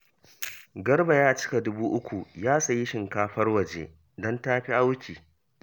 Garba ya cika dubu uku ya sayi shinkafar waje, don ta fi auki